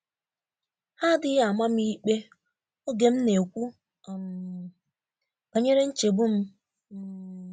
Ha adịghi amam ikpe oge m na ekwụ um banyere nchegbu m um